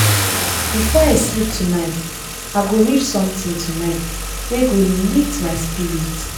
before i sleep tonight i go read something tonight wey go lift go lift my spirit.